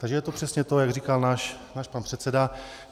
Takže je to přesně to, jak říkal náš pan předseda.